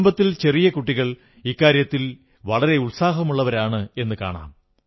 കുടുംബത്തിൽ ചെറിയ കുട്ടികൾ ഇക്കാര്യത്തിൽ വളരെ ഉത്സാഹമുള്ളവരാണെന്നു കാണാം